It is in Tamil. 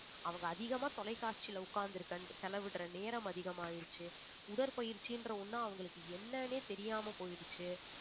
அவங்க அதிகமா தொலைக்காட்சியில உட்கார்ந்து செலவிடுற நேரம் அதிகமாயிருச்சு உடற்பயிற்சின்ற ஒண்ணு அவங்களுக்கு என்னன்னே தெரியாம போயிருச்சு